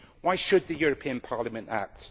Why should the European Parliament act?